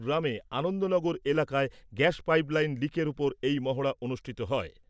গ্রামের আনন্দনগর এলাকায় gas pipe line লিকের উপর এই মহড়া অনুষ্ঠিত হয় ।